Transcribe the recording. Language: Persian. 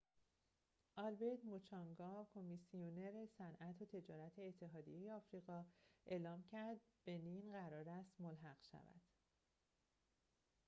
آلبرت موچانگا کمیسیونر صنعت و تجارت اتحادیه آفریقا اعلام کرد بنین قرار است ملحق شود